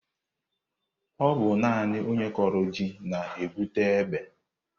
Ọ bụ naani onye kọrọ ji na-egwute ebe.